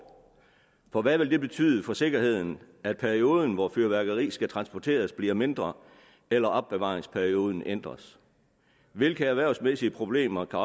for hvad vil det betyde for sikkerheden at perioden hvori fyrværkeri skal transporteres bliver mindre eller at opbevaringsperioden ændres hvilke erhvervsmæssige problemer kan